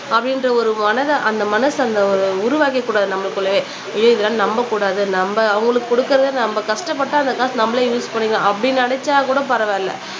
அப்படின்ற ஒரு மனதை அந்த மனசு அந்த உருவாக்கிக்கூடாது நம்மளுக்குள்ளயே இதெல்லாம் நம்பக்கூடாது நம்ம அவங்களுக்கு குடுக்கிறதை நம்ம கஷ்டப்பட்டா அந்த காசு நம்மளே யூஸ் பண்ணிக்கலாம் அப்படி நினைச்சா கூட பரவாயில்லை